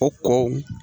A tɔ